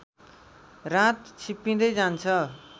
रात छिप्पिँदै जान्छ